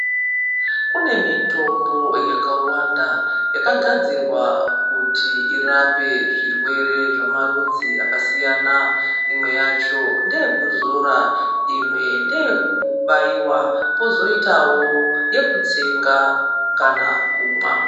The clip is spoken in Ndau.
Kune mitombo yakawanda yakagadzirwa kuti irape zvirwere zvemarudzi akasiyana imwe yacho ndeyekuzora , imwe ndeyekubaira kozoitwa yekutsenga kana kumwa